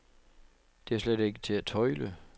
Det er slet ikke til at tøjle.